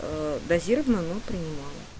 аа дозировано но принимала